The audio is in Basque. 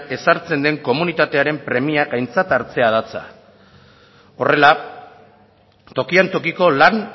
ezartzen den komunitatearen premiak aintzat hartzea datza horrela tokian tokiko lan